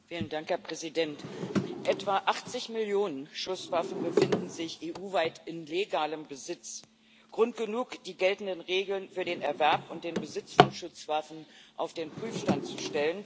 Herr Präsident! Etwa 80 Millionen Schusswaffen befinden sich EU weit in legalem Besitz Grund genug, die geltenden Regeln für den Erwerb und den Besitz von Schusswaffen auf den Prüfstand zu stellen.